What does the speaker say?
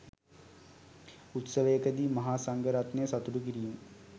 උත්සවයකදී මහා සංඝ රත්නය සතුටු කිරීම